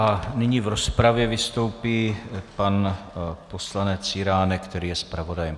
A nyní v rozpravě vystoupí pan poslanec Jiránek, který je zpravodajem.